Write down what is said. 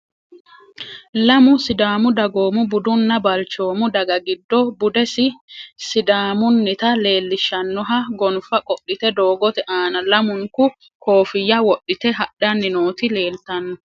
Lamu sidaamu dagoomo budunna balchoomu daga giddo budesi sidaamunita leelishanoha gonfa qodhite doogote aana lamunku kofiyya wodhite hadhani noti leeltano.